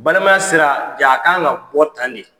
Balimaya sera jaa a kan ka bɔ tan de.